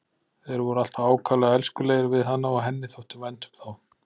Þeir voru alltaf ákaflega elskulegir við hana og henni þótti vænt um þá.